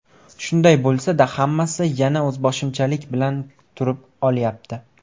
Shunday bo‘lsa-da, hammasi yana o‘zboshimchalik bilan turib olyapti.